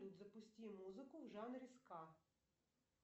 запусти музыку в жанре ска